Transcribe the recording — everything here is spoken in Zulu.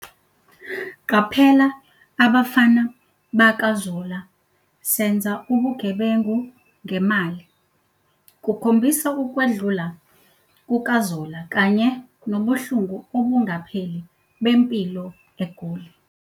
"Qaphela abafana bakaZola, senza ubugebengu ngemali" kukhombisa ukwedlula kukaZola kanye nobuhlungu obungapheli bempilo egoli.